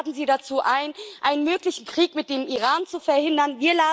Wir laden Sie dazu ein, einen möglichen Krieg mit dem Iran zu verhindern.